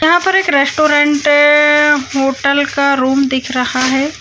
यहाँ पे एक रेस्टॉरेंट होटल का रूम दिख रहा है।